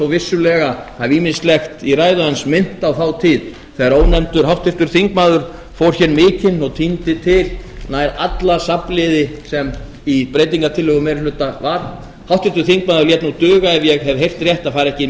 vissulega hafi ýmislegt í ræðu hans minnt á þá tíð þegar ónefndur háttvirtur þingmaður fór hér mikinn og tíndi til nær alla safnliði sem í breytingartillögu meiri hluta var háttvirtur þingmaður lét nú duga ef ég hef heyrt rétt að fara ekki